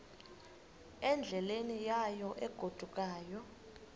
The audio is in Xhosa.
endleleni yayo egodukayo